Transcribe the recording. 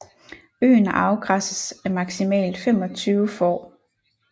Øen afgræsses af maksimalt 25 får